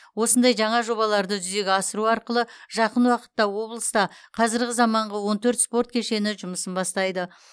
осындай жаңа жобаларды жүзеге асыру арқылы жақын уақытта облыста қазіргі замаңғы он төрт спорт кешені жұмысын бастайды